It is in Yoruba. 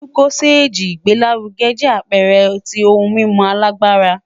Lucozade igbelaruge jẹ apẹẹrẹ ti ohun mimu agbara